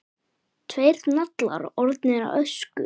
Tveir naglar orðnir að ösku.